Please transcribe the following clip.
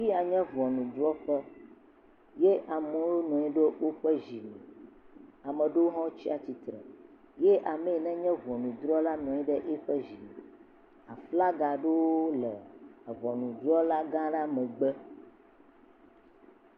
Fi ya nye ŋɔnudrɔ̃ƒe ye amewo nɔ anyi ɖe woƒe zime. Ame ɖewo hã tsia tsi tre. Ye ameyi ne nye ŋɔnudrɔ̃la nɔ anyi ɖe eƒe zime. Aflaga aɖewo le ŋɔnudrɔ̃lagãa megbe.